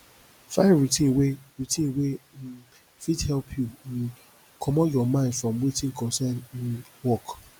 find routine wey routine wey um fit help you um comot your mind from wetin concern um work